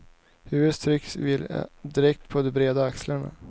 Huvudet tycks vila direkt på de breda axlarna.